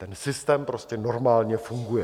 Ten systém prostě normálně funguje.